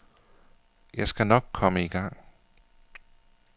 Jeg skal nok komme i gang.